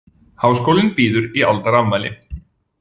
Háskólinn býður í aldarafmæli